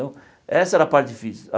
essa era a parte difícil.